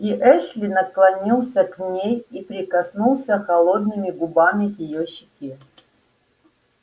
и эшли наклонился к ней и прикоснулся холодными губами к её щеке